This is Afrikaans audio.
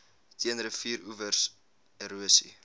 teen rivieroewer erosie